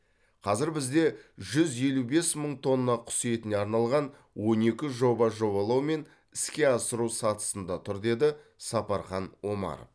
қазір бізде жүз елу бес мың тонна құс етіне арналған он екі жоба жобалау мен іске асыру сатысында тұр деді сапархан омаров